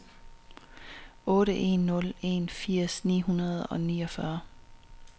otte en nul en firs ni hundrede og niogfyrre